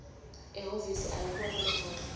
ehhovisi ayibone lendvodza